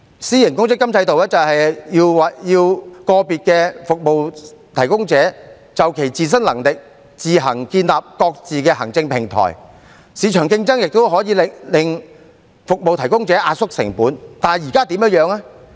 私營公積金制度要求個別服務提供者，就其自身能力自行建立各自的行政平台，市場競爭也可令服務提供者壓縮成本，但現在的情況是怎樣呢？